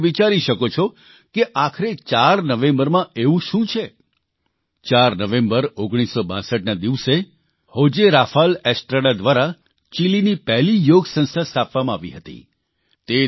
હવે તમે એ વિચારી શકો છો કે આખરે 4 નવેંબરમાં એવું શું છે 4 નવેંબર 1962ના દિવસે હોજે રાફાલ એસ્ટ્રાડા દ્વારા ચીલીની પહેલી યોગ સંસ્થા સ્થાપવામાં આવી હતી